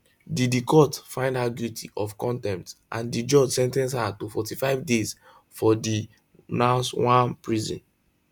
di di court find her guilty of contempt and di judge sen ten ce her to 45 days for di nsawam prison